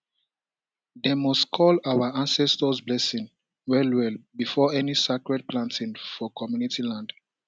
dem must call our ancestors blessing well well before any sacred planting for community land